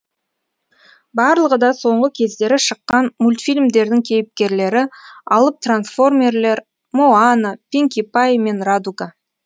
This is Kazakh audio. барлығы да соңғы кездері шыққан мультфильмдердің кейіпкерлері алып трансформерлер моана пинки пай мен радуга